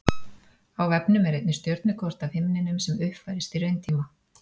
á vefnum er einnig stjörnukort af himninum sem uppfærist í rauntíma